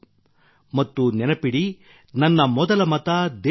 ಮತ್ತು ನೆನಪಿಡಿ ನನ್ನ ಮೊದಲ ಮತ ದೇಶಕ್ಕಾಗಿ